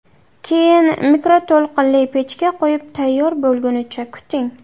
Keyin mikroto‘lqinli pechga qo‘yib, tayyor bo‘lgunicha kuting.